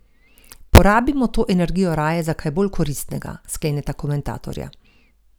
Porabimo to energijo raje za kaj bolj koristnega, skleneta komentatorja.